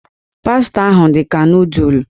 Pasta ahụ dị ka nụụdụl.